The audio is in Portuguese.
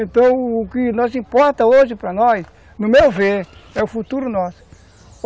Então, o que nos importa hoje para nós, no meu ver, é o futuro nosso.